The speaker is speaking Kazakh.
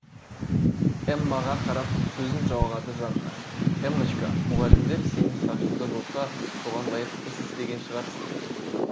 эммаға қарап сөзін жалғады жанна эммочка мұғалімдер сенің шашыңды жұлса соған лайық іс істеген шығарсың